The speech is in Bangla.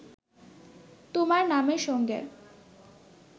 তোমার নামের সঙ্গে